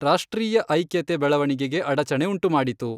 ರಾಷ್ಟ್ರೀಯ ಐಕ್ಯತೆ ಬೆಳವಣಿಗೆಗೆ ಆಡಚಣೆ ಉಂಟುಮಾಡಿತು.